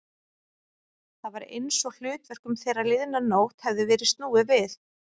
Það var einsog hlutverkum þeirra liðna nótt hefði verið snúið við.